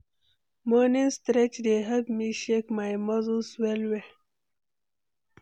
Morning stretch dey help me shake my muscle well well.